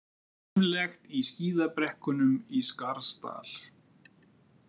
Líflegt í skíðabrekkunum í Skarðsdal